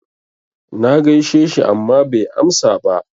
Na gaishe shi amma bai amsa ba.